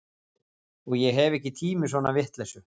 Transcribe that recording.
Og ég hef ekki tíma í svona vitleysu